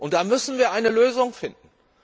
Da müssen wir eine Lösung finden.